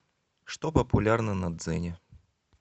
что популярно на дзене